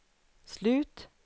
slut